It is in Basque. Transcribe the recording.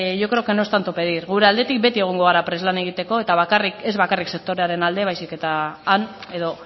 yo creo que no es tanto pedir gure aldetik beti egongo gara prest lan egiteko eta bakarrik ez bakarrik sektorearen alde baizik han edo